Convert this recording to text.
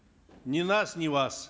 ни нас ни вас